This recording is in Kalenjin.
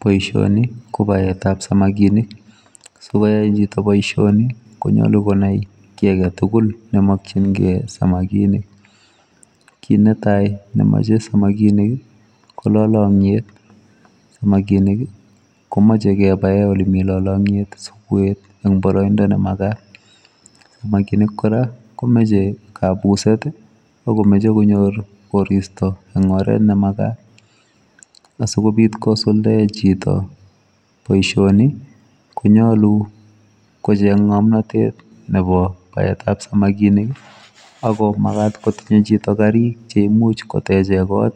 Boisioni ko baet ab samakinik ,sikoyai chitoo boisioni konyoluu konai kiy age tugul ne makyingei samakinik, kit ne tai memachei samakinik ii ko lalangyeet , samakinik ii komachei kebaen ole Mii lalangyeet si konam baraindaa ne magaat samakinik kora komachei kabuset ,machei konyoor koristoi en oret ne magaat asikobiit kosuldaen chitoo boisioni Konyaluu kocheeng ngamnatet nebo baet ab samakinik ii ago magat kotinyei chitoo gariik cheimuuch kotecheen kot